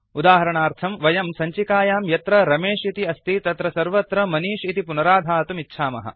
उदाहरणार्थं वयं सञ्चिकयां यत्र रमेश इति अस्ति तत्र सर्वत्र मनिष् इति पुनराधातुम् इच्छामः